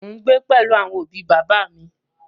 Mo gbé pẹ̀lú àwọn òbi bàbá à mi.